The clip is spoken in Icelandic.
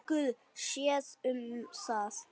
Guð sér um það.